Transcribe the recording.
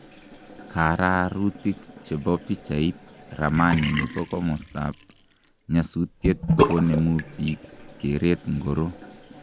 Kaararutik che bo pichait, Ramani ne bo komostab nyasutiet konemu bik keret ngoro?